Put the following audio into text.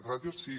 ràtios sí